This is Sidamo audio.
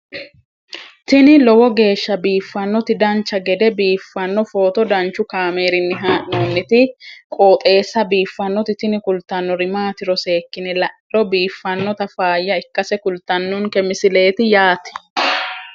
tini lowo geeshsha biiffannoti dancha gede biiffanno footo danchu kaameerinni haa'noonniti qooxeessa biiffannoti tini kultannori maatiro seekkine la'niro biiffannota faayya ikkase kultannoke misileeti yaate